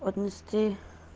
отнести